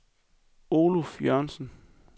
Oluf Jørgensen